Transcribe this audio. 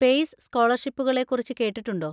പെയ്‌സ് സ്‌കോളർഷിപ്പുകളെ കുറിച്ച് കേട്ടിട്ടുണ്ടോ?